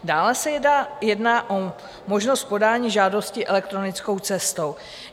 Dále se jedná o možnost podání žádosti elektronickou cestou.